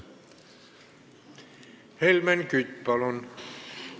Helmen Kütt, palun!